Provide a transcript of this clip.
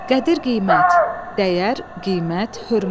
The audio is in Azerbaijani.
Qədir-qiymət, dəyər, qiymət, hörmət.